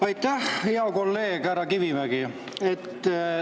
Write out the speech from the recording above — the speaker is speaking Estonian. Aitäh, hea kolleeg härra Kivimägi!